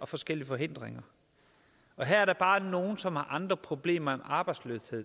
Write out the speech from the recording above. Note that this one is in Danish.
og forskellige forhindringer og her er der bare nogle som har andre problemer end arbejdsløshed